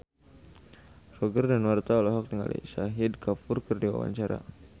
Roger Danuarta olohok ningali Shahid Kapoor keur diwawancara